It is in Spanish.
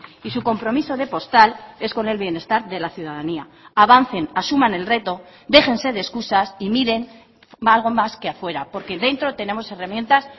y su compromiso de postal es con el bienestar de la ciudadanía avancen asuman el reto déjense de excusas y miren algo más que afuera porque dentro tenemos herramientas